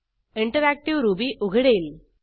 interactive Ruby उघडेल